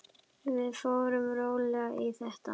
Við förum rólega í þetta.